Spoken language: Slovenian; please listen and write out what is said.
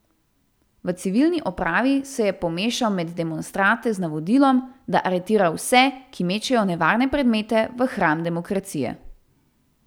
V civilni opravi se je pomešal med demonstrante z navodilom, da aretira vse, ki mečejo nevarne predmete v hram demokracije.